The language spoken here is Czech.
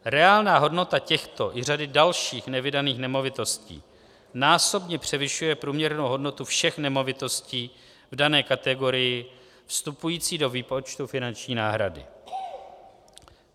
Reálná hodnota těchto i řady dalších nevydaných nemovitostí násobně převyšuje průměrnou hodnotu všech nemovitostí v dané kategorii vstupující do výpočtu finanční náhrady.